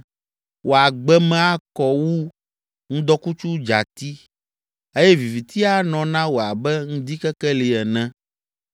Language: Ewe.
Wò agbe me akɔ wu ŋdɔkutsu dzati eye viviti anɔ na wò abe ŋdikekeli ene.